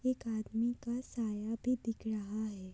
एक आदमी का साया भी दिख रहा हैं।